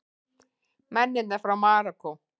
Mennina frá Marokkó!